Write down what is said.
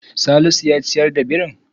Salisu ya ciyar da birin.